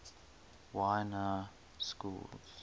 y na schools